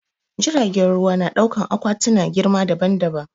Jiragen ruwa na dauƙan akwati na girma daɓan-daɓan.